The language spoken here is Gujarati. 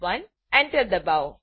Enter એન્ટર દબાવો